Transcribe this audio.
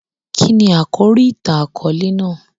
Kíni àkòrí ìtàn-àkóòlè náà?